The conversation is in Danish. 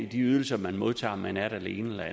de ydelser man modtager efter om man er det ene eller